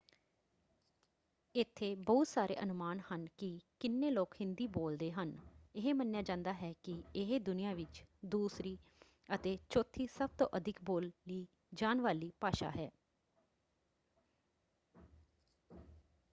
ਇੱਥੇ ਬਹੁਤ ਸਾਰੇ ਅਨੁਮਾਨ ਹਨ ਕਿ ਕਿੰਨੇ ਲੋਕ ਹਿੰਦੀ ਬੋਲਦੇ ਹਨ। ਇਹ ਮੰਨਿਆ ਜਾਂਦਾ ਹੈ ਕਿ ਇਹ ਦੁਨੀਆਂ ਵਿੱਚ ਦੂਸਰੀ ਅਤੇ ਚੌਥੀ ਸਭ ਤੋਂ ਅਧਿਕ ਬੋਲੀ ਜਾਣ ਵਾਲੀ ਭਾਸ਼ਾ ਹੈ।